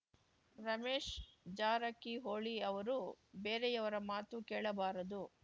ರಮೇಶ್‌ ಜಾರಕಿಹೊಳಿ ಅವರು ಬೇರೆಯವರ ಮಾತು ಕೇಳಬಾರದು